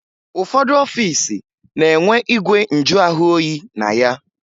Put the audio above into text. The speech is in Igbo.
Ụfọdụ ọfiisi na-enwe igwe njụahụoyi na ya